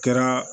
Kɛra